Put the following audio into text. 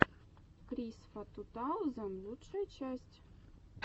крисфа ту таузен лучшая часть